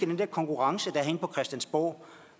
den her konkurrence der er herinde på christiansborg